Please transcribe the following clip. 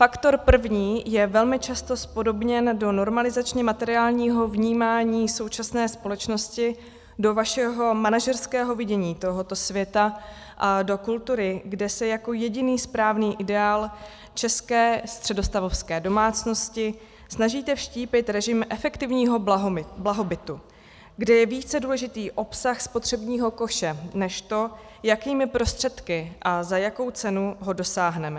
Faktor první je velmi často zpodobněn do normalizačně materiálního vnímání současné společnosti, do vašeho manažerského vidění tohoto světa a do kultury, kde se jako jediný správný ideál české středostavovské domácnosti snažíte vštípit režim efektivního blahobytu, kdy je více důležitý obsah spotřebního koše než to, jakými prostředky a za jakou cenu ho dosáhneme.